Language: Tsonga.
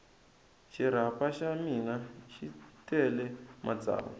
xirapha xa mina xi tele matsavu